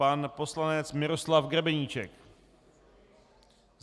Pan poslanec Miroslav Grebeníček.